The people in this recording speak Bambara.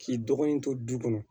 K'i dɔgɔnin to du kɔnɔ